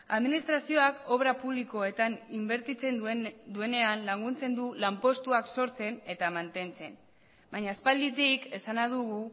administrazioak obra publikoetan inbertitzen duenean laguntzen du lanpostuak sortzen eta mantentzen baina aspalditik esana dugu